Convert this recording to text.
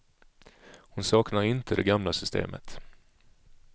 Hon saknar inte det gamla systemet.